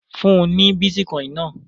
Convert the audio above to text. Fún ní bítíkọ́ìn náà!